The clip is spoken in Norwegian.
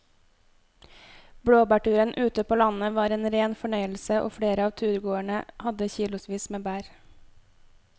Blåbærturen ute på landet var en rein fornøyelse og flere av turgåerene hadde kilosvis med bær.